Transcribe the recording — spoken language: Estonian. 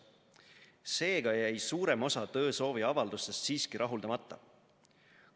Seega jäi suurem osa töösooviavaldustest siiski rahuldamata.